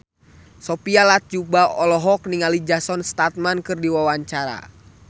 Sophia Latjuba olohok ningali Jason Statham keur diwawancara